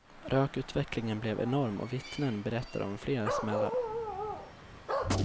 Rökutvecklingen blev enorm och vittnen berättar om flera smällar.